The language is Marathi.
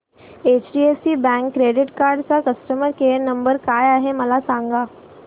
एचडीएफसी बँक क्रेडीट कार्ड चा कस्टमर केयर नंबर काय आहे मला सांगा